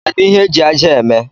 Kedụ ihe eji ájá a eme?